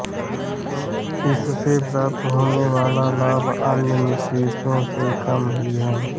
इससे प्राप्त होने वाला लाभ अन्य निवेशों से कम ही है